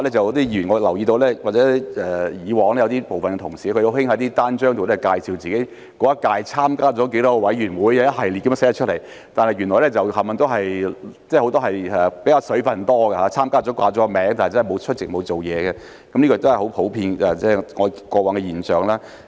我亦留意到有部分同事以往很喜歡在單張介紹自己在當屆參加了多少個委員會，一系列地列出來，但原來很多都"水分"較多，他們只是報了名參加而沒有出席或工作，這都是過往的普遍現象。